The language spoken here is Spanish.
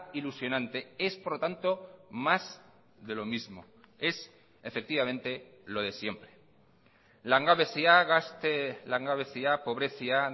ilusionante es por lo tanto más de lo mismo es efectivamente lo de siempre langabezia gazte langabezia pobrezia